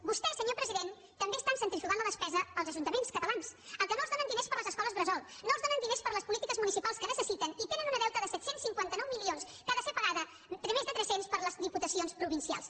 vostès senyor president també estan centrifugant la despesa als ajuntaments catalans als quals no els donen diners per a les escoles bressol no els donen diners per a les polítiques municipals que necessiten i tenen un deute de set cents i cinquanta nou milions que ha de ser pagat més de tres cents per les diputacions provincials